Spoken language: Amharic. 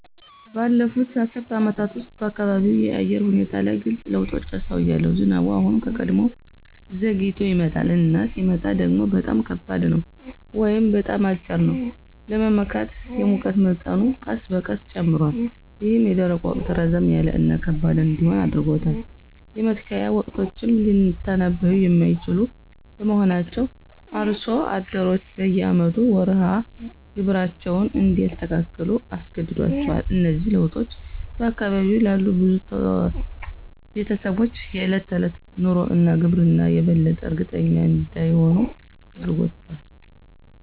ባለፉት አስርት ዓመታት ውስጥ፣ በአካባቢው የአየር ሁኔታ ላይ ግልጽ ለውጦችን አስተውያለሁ። ዝናቡ አሁን ከቀድሞው ዘግይቶ ይመጣል፣ እና ሲመጣ ደግሞ በጣም ከባድ ነው ወይም በጣም አጭር ነው ለመመካት። የሙቀት መጠኑ ቀስ በቀስ ጨምሯል, ይህም የደረቁ ወቅት ረዘም ያለ እና ከባድ እንዲሆን አድርጎታል. የመትከያ ወቅቶችም ሊተነብዩ የማይችሉ በመሆናቸው አርሶ አደሮች በየአመቱ መርሃ ግብራቸውን እንዲያስተካክሉ አስገድዷቸዋል. እነዚህ ለውጦች በአካባቢው ላሉ ብዙ ቤተሰቦች የዕለት ተዕለት ኑሮ እና ግብርና የበለጠ እርግጠኛ እንዳይሆኑ አድርጓቸዋል።